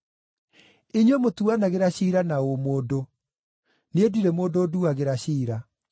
Inyuĩ mũtuanagĩra ciira na ũmũndũ; niĩ ndirĩ mũndũ nduagĩra ciira.